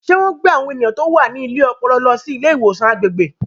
Ṣé wọ́n gbé àwọn ènìyàn tó wà ní ilé ọpọlọ lọ sí ilé ìwòsàn agbègbè?